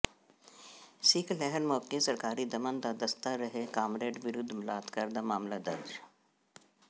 ਸਿੱਖ ਲਹਿਰ ਮੌਕੇ ਸਰਕਾਰੀ ਦਮਨ ਦਾ ਦਸਤਾ ਰਹੇ ਕਾਮਰੇਡ ਵਿਰੁਧ ਬਲਾਤਕਾਰ ਦਾ ਮਾਮਲ ਦਰਜ਼